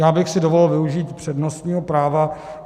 Já bych si dovolil využít přednostního práva.